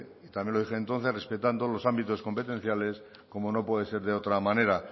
y también lo dije entonces respetando los ámbitos competenciales como no puede ser de otra manera